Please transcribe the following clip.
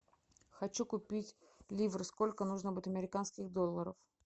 хочу купить ливр сколько нужно будет американских долларов